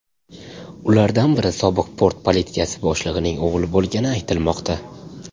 Ulardan biri sobiq port politsiyasi boshlig‘ining o‘g‘li bo‘lgani aytilmoqda.